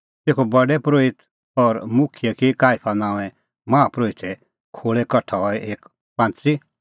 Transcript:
तेखअ प्रधान परोहित और मुखियै की काईफा नांओंए माहा परोहिते खोल़ै कठा हई एक पांच़ी